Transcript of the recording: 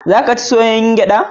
Za ka ci soyayyar gyaɗa?